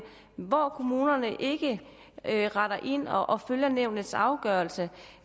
men hvor kommunerne ikke retter ind og og følger nævnets afgørelse